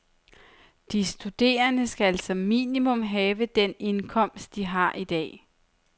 De studerende skal som minimum have den indkomst, de har i dag.